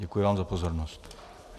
Děkuji vám za pozornost.